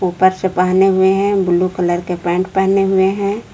पर्चे पहने हुए हैं ब्लू कलर के पैंट पहने हुए है।